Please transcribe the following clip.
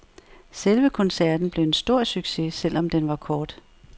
Selve koncerten blev en stor succes selv om den var kort.